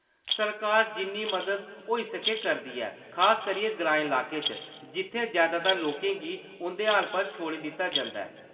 सरकार जिन्नी मदद होई सकै करदी ऐ, खास करियै ग्राईं लाकें च, जित्थै जैदातर लोकें गी उंʼदे हाल पर छोड़ी दित्ता जंदा ऐ।